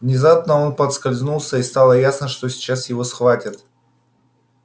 внезапно он подскользнулся и стало ясно что сейчас его схватят